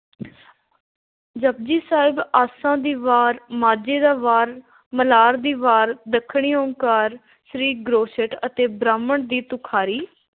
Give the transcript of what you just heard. ਜਪੁਜੀ ਸਾਹਿਬ, ਆਸਾ ਦੀ ਵਾਰ, ਮਾਝੇ ਦਾ ਵਾਰ, ਮਲਾਰ ਦੀ ਵਾਰ, ਦੱਖਣੀ ਓਅੰਕਾਰ, ਸਿੱਧ ਗੋਸ਼ਟਿ ਅਤੇ ਬਾਰਹਮਾਹ ਦੀ ਤੁਖ਼ਾਰੀ।